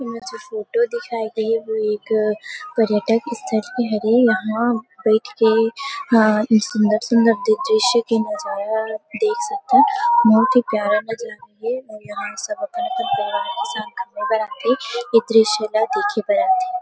यह जो फोटो दिखाई देहे वो एक पर्यटक स्थल के हरे यहां बैठ के ह सुन्दर - सुन्दर दृश्य के नजारा देख सकथन बहुत ही प्यारा नजारा हे और यहाँ सब अपन - अपन परिवार के संग खाना बनाथे ये दृश्य ला देखे बर आथे।